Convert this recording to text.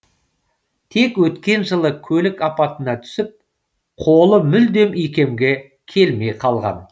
тек өткен жылы көлік апатына түсіп қолы мүлдем икемге келмей қалған